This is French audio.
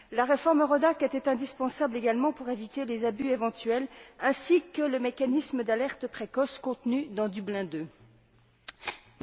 La réforme EURODAC était indispensable également pour éviter les abus éventuels, ainsi que le mécanisme d'alerte précoce contenu dans Dublin II.